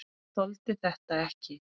Þoldi þetta ekki!